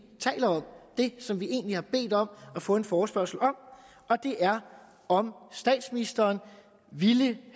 taler om det som vi egentlig har bedt om at få en forespørgsel om og det er om statsministeren ville